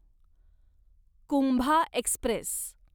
Kumbha Express